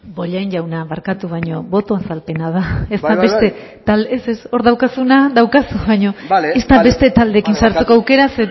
bollain jauna barkatu baina boto azalpena da ez da beste talde ez ez hor daukazuna daukazu bai bai bai bale barkatu baina ez da beste taldeekin sartzeko aukera